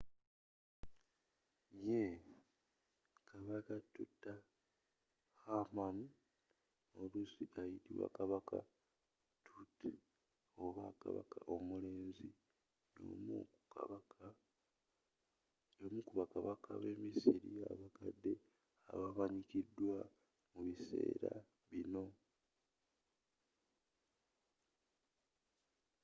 yee! kabaka tutankhamun oluusi ayitibwa kabaka tut” oba kabaka omulenzi” y’omu ku bakabaka b’emisiri abakadde abamanyikidwa mu biseera binno